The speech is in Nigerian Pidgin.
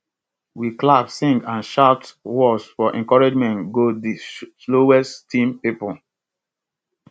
we clap sing and shout words for encouragement go di slowest team pipo